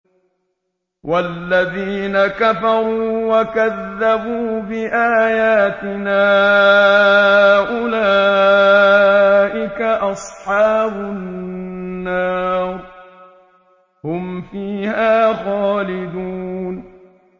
وَالَّذِينَ كَفَرُوا وَكَذَّبُوا بِآيَاتِنَا أُولَٰئِكَ أَصْحَابُ النَّارِ ۖ هُمْ فِيهَا خَالِدُونَ